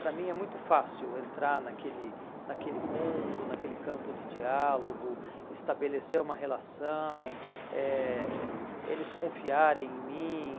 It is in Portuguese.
Para mim é muito fácil entrar naquele naquele mundo, naquele campo de diálogo, estabelecer uma relação, eh eles confiarem em mim.